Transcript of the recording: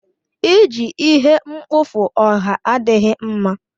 Iji ihe mkpofu ọha adịghị mma.